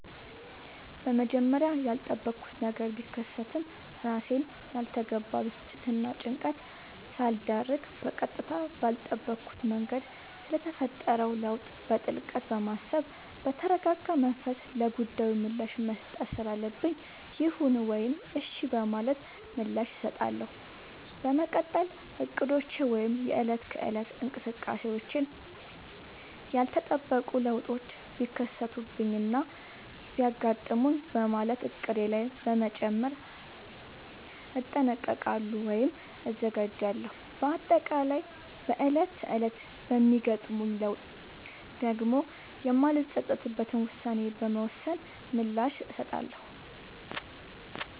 በመጀመሪያ ያልጠበኩት ነገር ቢከሰትም እራሴን ላልተገባ ብስጭትናጭንቀት ሳልዳርግ በቀጥታ ባልጠበኩት መንገድ ስለተፈጠረው ለውጥ በጥልቀት በማሰብ በተረጋጋመንፈስ ለጉዳዩ ምላሽ መስጠት ስላለብኝ ይሁን ወይም እሽ በማለት ምላሽ እሰጣለሁ። በመቀጠል እቅዶቼ ወይም የእለት ከእለት እንቅስቃሴዎቼን ያልተጠበቁ ለውጦች ቢከሰቱብኝናቢያጋጥሙኝ በማለት እቅዴ ላይ በመጨመር እጠነቀቃሉ ወይም እዘጋጃለሁ። በአጠቃላይ በእለት ተእለት በሚገጥሙኝ ለውጦች ዳግም የማልፀፀትበትን ውሳኔ በመወሰን ምላሽ እሰጣለሁ።